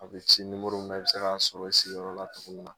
A bɛ ci min na i bi se k'a sɔrɔ i sigiyɔrɔ la tuguni min na